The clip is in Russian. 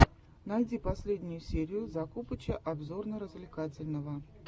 найди последнюю серию закупыча обзорно развлекательного